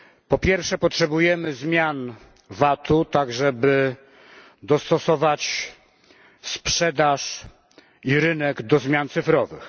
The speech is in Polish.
Po pierwsze, potrzebujemy zmian VAT u, tak żeby dostosować sprzedaż i rynek do zmian cyfrowych.